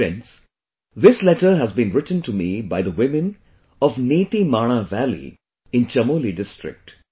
Friends, this letter has been written to me by the women of NitiMana valley in Chamoli district